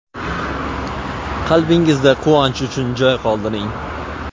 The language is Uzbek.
Qalbingizda quvonch uchun joy qoldiring.